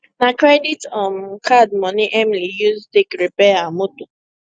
na credit um card moni emily use take repair her moto